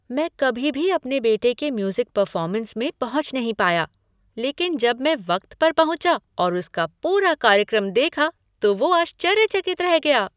मैं कभी भी अपने बेटे के म्यूज़िक परफ़ॉर्मेस में पहुँच नहीं पाया लेकिन जब मैं वक्त पर पहुँचा और उसका पूरा कार्यक्रम देखा, तो वो आश्चर्यचकित रह गया।